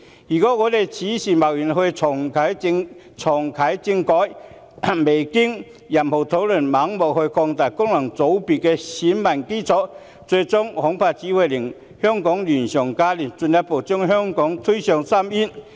如果此時貿然重啟政改，未經任何討論就盲目擴大功能界別的選民基礎，最終恐怕只會令香港亂上加亂，進一步將香港推向深淵。